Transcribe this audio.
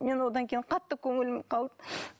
мен одан кейін қатты көңілім қалды